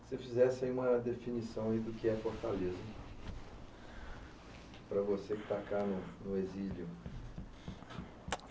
Se você fizesse aí uma definição aí do que é Fortaleza, para você que está cá no exílio.